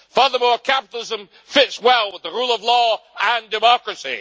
Furthermore, capitalism fits well with the rule of law and democracy.